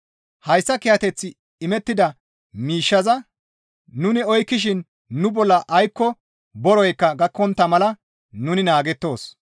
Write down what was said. Hayssa kiyateth imettida miishshaza nuni oykkishin nu bolla aykko boroykka gakkontta mala nuni naagettoos.